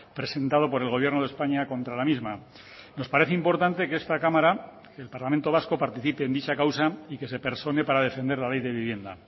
presentado por el gobierno de españa contra la misma nos parece importante que esta cámara el parlamento vasco participe en dicha causa y que se persone para defender la ley de vivienda